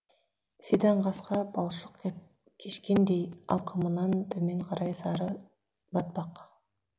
сидаң қасқа балшық кешкендей алқымынан төмен қарай сары батпақ